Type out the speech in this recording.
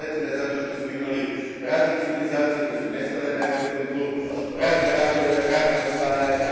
Isprepletena je zato što smo imali razne civilizacije koje su nestale na europskom tlu, razne ratove i osvajanja.